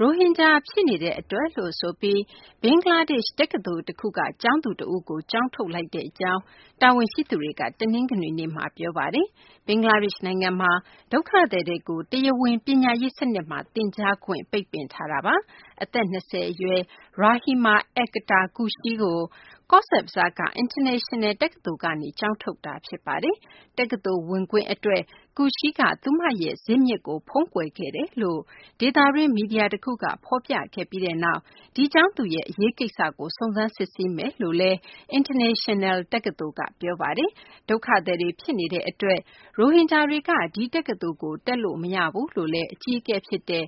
ရိုဟင်ဂျာဖြစ်နေတဲ့အတွက် ဘင်္ဂလားဒေ့ရှ် တက္ကသိုလ်တခုက ကျောင်းသူတဦးကို ကျောင်းထုတ်လိုက်ကြောင်း တာဝန်ရှိသူတွေက တနင်္ဂနွေနေ့မှာ ပြောဆိုပါတယ်။ ဘင်္ဂလားဒေ့ရှ်နိုင်ငံမှာ ဒုက္ခသည်တွေကို တရားဝင် ပညာရေးစနစ်မှာ သင်ကြားခွင့် ပိတ်ပင်ထားတာပါ။ အသက် ၂၀ အရွယ် Rahima Akter Khushi ကို ကောဇ့်ဘဇားက International တက္ကသိုလ်ကနေ ကျောင်းထုတ်လိုက်တာ ဖြစ်ပါတယ်။ တက္ကသိုလ်ဝင်ခွင့်အတွက် Rahima Akter Khushi က သူမရဲ့ဇာစ်မြစ်ကို ဖုံးကွယ်ခဲ့တယ်လို့ ဒေသတွင်း မီဒီယာတခုက ဖော်ပြပြီးနောက် ဒီကျောင်းသူရဲ့ အရေးကိစ္စကို စုံစမ်းစစ်ဆေးမယ်လို့လည်း International တက္ကသိုလ်က ပြောဆိုထားပါတယ်။ ဒုက္ခသည်တွေ ဖြစ်နေတဲ့အတွက် ရိုဟင်ဂျာတွေက ဒီတက္ကသိုလ်ကို တက်လို့မရဘူးလို့လည်း တက္ကသိုလ်အကြီးအကဲ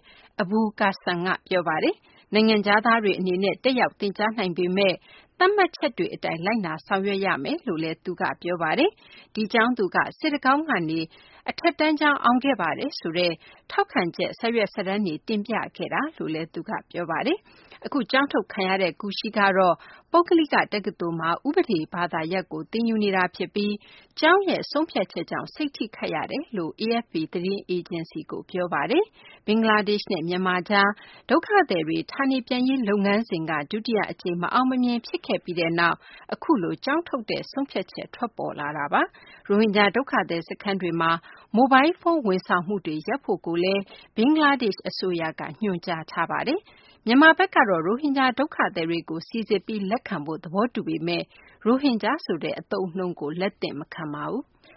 ABUL Kashem က ပြောပါတယ်။ နိုင်ငံခြားသားတွေအနေနဲ့ တက်ရောက်သင်ကြားနိုင်ပေမယ့် သတ်မှတ်ချက်တွေ အတိုင်း လိုက်နာဆောင်ရွက်ရမယ်လို့လည်း ပြောပါတယ်။ ဒီကျောင်းသူက စစ်တကောင်းကနေ အထက်တန်းကျောင်း အောင်ခဲ့ပါတယ်ဆိုတဲ့ ထောက်ခံချက် စာရွက်စာတမ်းတွေ တင်ပြခဲ့တယ်လို့လည်း သူက ပြောပါတယ်။ အခုကျောင်းထုတ်ခံရတဲ့ Khushi ကတော့ ပုဂ္ဂလိက တက္ကသိုလ်မှာ ဥပဒေ ဘာသာရပ်ကို သင်ယူနေတာဖြစ်ပြီး ကျောင်းရဲ့ဆုံးဖြတ်ချက်ကြောင့် စိတ်ထိခိုက်ရတယ်လို့ AFP သတင်းအေဂျင်စီကို ပြောဆိုပါတယ်။ ဘင်္ဂလားဒေ့ရှ်နဲ့ မြန်မာကြား ဒုက္ခသည်တွေ ဌာနေပြန်ရေး လုပ်ငန်းစဉ်က ဒုတိယအကြိမ် မအောင်မမြင် ဖြစ်ခဲ့ပြီးနောက် အခုလို ကျောင်းထုတ်တဲ့ ဆုံးဖြတ်ချက် ထွက်ပေါ်လာတာပါ။ ရိုဟင်ဂျာ ဒုက္ခသည်စခန်းတွေမှာ မိုဘိုင်းဖုန်းဝန်ဆောင်မှုတွေ ရပ်ဖို့လည်း ဘင်္ဂလားဒေ့ရှ် အစိုးရက ညွှန်ကြားထားပါတယ်။ မြန်မာဘက်ကတော့ ရိုဟင်ဂျာ ဒုက္ခသည်တွေကို စိစစ်ပြီး လက်ခံဖို့ သဘောတူထားပေမယ့် ရိုဟင်ဂျာဆိုတဲ့ အသုံးအနှုန်းကို လက်သင့်မခံပါဘူး။